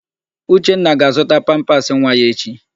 Uchenna ga-azụta pampasị nwa ya echi.